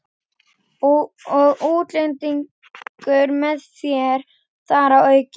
Og útlendingur með þér þar að auki.